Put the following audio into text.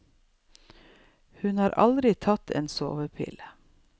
Hun har aldri tatt en sovepille.